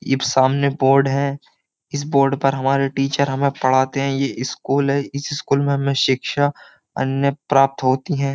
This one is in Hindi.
ये सामने बोर्ड है इस बोर्ड आ पर हमारे टीचर हमें पढ़ाते हैं ये स्कूल है इस स्कूल में हमें शिक्षा अन्य प्राप्त होती हैं।